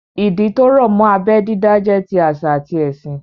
Ìdí tó rọ̀ mọ́ abẹ́ dídá jẹ́ ti àṣà àti ẹ̀sìn